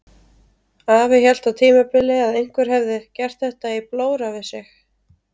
Afi hélt á tímabili að einhver hefði gert þetta í blóra við sig.